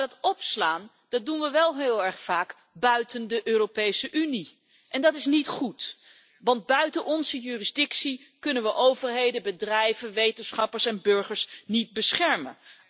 Maar dat opslaan doen we wel heel erg vaak buiten de Europese Unie en dat is niet goed, want buiten onze jurisdictie kunnen we overheden, bedrijven, wetenschappers en burgers niet beschermen.